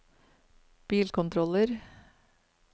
bilkontroller